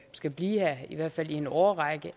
skal blive her i hvert fald i en årrække